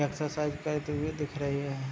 Exercise करते हुआ दिख रहें हैं।